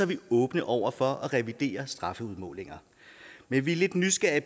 vi åbne over for at revidere strafudmålinger men vi er lidt nysgerrige